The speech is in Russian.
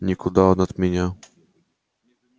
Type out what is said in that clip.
никуда он от меня